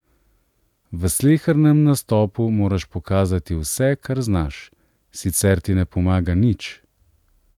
V slehernem nastopu moraš pokazati vse, kar znaš, sicer ti ne pomaga nič.